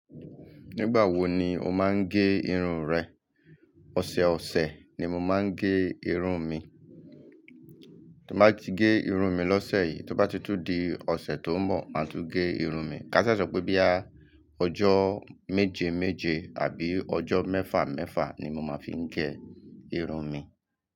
Nígbà wo ni o máa ń gé irun rẹ? Ọ̀sẹ̀ ọ̀sẹ̀ ni mo máa ń gé irun mi. Tí n bá ti gé irun mi lọ́sẹ̀ yìí, tó bá ti tùn di ọ̀sẹ̀ tó ń bọ̀, màá tún gé irun mi. Ká ṣa sọ pé boya ọjọ́ méje méje àbí ọjọ́ mẹ́fà mẹ́fà ni mo máa fi ń gé irun mi.